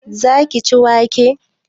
Za ki ci wake?